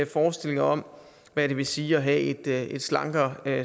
forestillinger om hvad det vil sige at have et slankere